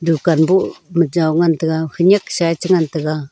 dukaan bu joi ngan taiga hunyak sa e cha ngan taga.